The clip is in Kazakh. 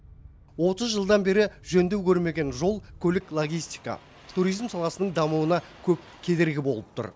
отыз жылдан бері жөндеу көрмеген жол көлік логистика туризм саласының дамуына көп кедергі болып тұр